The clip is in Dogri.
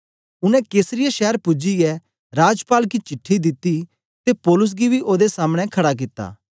उनै कैसरिया शैर पूजियै राजपाल गी चिट्ठी दिती ते पौलुस गी बी ओदे सामने खड़ा कित्ता